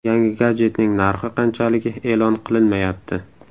Yangi gadjetning narxi qanchaligi e’lon qilinmayapti.